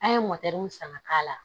An ye san ka k'a la